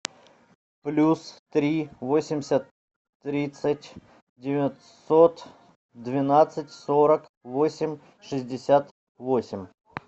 плюс три восемьдесят тридцать девятьсот двенадцать сорок восемь шестьдесят восемь